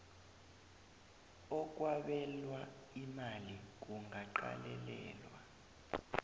okwabelwa imali kungaqalelelwa